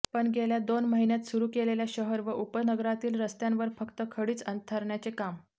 पण गेल्या दोन महिन्यात सुरू केलेल्या शहर व उपनगरातील रस्त्यांवर फक्त खडीच अंथरण्याचे काम